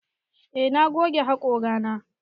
Eh na goge haƙora na.